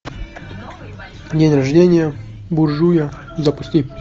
день рождение буржуя запусти